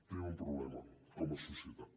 tenim un problema com a societat